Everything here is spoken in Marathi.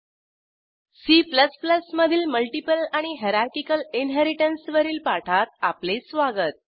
C मधील मल्टीपल आणि हायरार्किकल इन्हेरिटन्स वरील पाठात आपले स्वागत